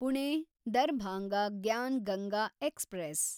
Pune Darbhanga Gyan Ganga express